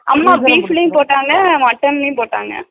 அம்மா beef லயும் போட்டாங்க mutton லயும் போட்டாங்க